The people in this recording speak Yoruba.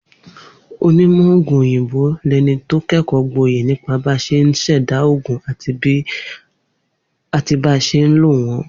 Onímò̩ ògùn òyìnbó lẹni tó ké̩kò̩ó̩ gboyè nípa bá s̩e ń s̩è̩dá ògùn àti bá s̩e ń lo wó̩n